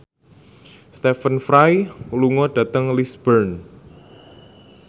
Stephen Fry lunga dhateng Lisburn